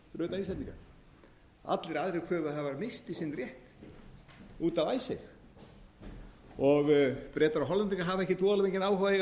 íslendinga allir aðrir kröfuhafar misstu sinn rétt út af icesave og bretar og hollendingar hafa ekki voðalega mikinn áhuga á að eiga